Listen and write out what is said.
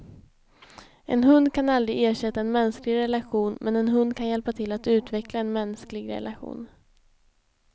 En hund kan aldrig ersätta en mänsklig relation, men en hund kan hjälpa till att utveckla en mänsklig relation.